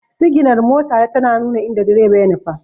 Siginar mota tana nuna inda direba ya nufa.